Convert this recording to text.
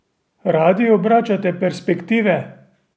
Radi obračate perspektive?